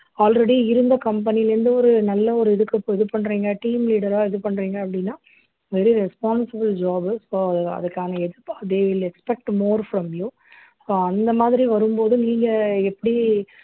already இருந்த company ல இருந்து ஒரு நல்ல ஒரு இதுக்கு இது பண்றீங்க team leader ஆ இது பண்றீங்க அப்படின்னா very responsible jobs அதுக்கான they will expect more from you so அந்த மாதிரி வரும்போது நீங்க எப்படி